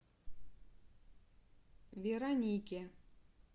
веронике